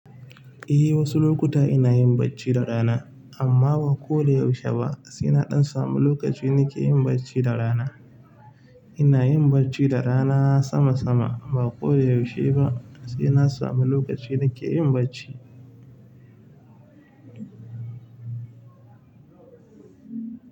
Eh, wasu lokuta ina yin bacci da rana amma ba koda yaushe ba. Sai na ɗan samu lokaci nakeyin bacci da rana. Ina yin bacci da rana sama sama, ba koda yaushe ba. Sai na samu lokaci nike yin bacci.